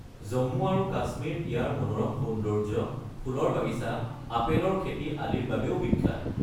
জম্মু আৰু কাশ্মীৰ ইয়াৰ মনোৰম সৌন্দৰ্য, ফুলৰ বাগিচা, আপেলৰ খেতি আদিৰ বাবেও বিখ্যাত।